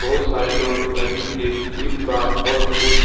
बहुत सारे लोग नदी के इस पार ओर उस --